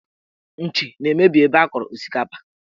Nchi na-emebi ebe a kọrọ osikapa